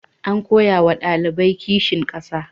An koya wa ɗaliban kishin ƙasa.